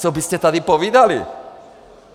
Co byste tady povídali?